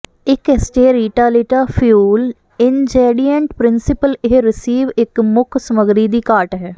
ਇੱਕ ਏਸਟੇ ਰੀਟਾ ਲੀਟਾ ਫਿਊਲ ਇੰਨਜੈਡੀਏਂਟ ਪ੍ਰਿੰਸੀਪਲ ਇਹ ਰਿਸੀਵ ਇੱਕ ਮੁੱਖ ਸਮੱਗਰੀ ਦੀ ਘਾਟ ਹੈ